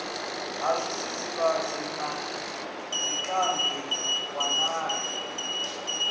ha zwidzivhadzi na zwikambi walani